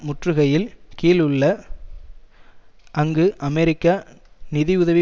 முற்றுகையில் கீழ் உள்ள அங்கு அமெரிக்க நிதிஉதவி